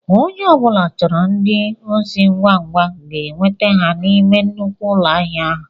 Ònye ọbula chọrọ ndị osi ngwa ngwa ga enweta ha n'ime nnukwu ụlọ ahịa ahụ.